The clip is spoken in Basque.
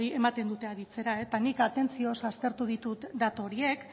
ematen dute aditzera eta nik atentzioz aztertu ditut datu horiek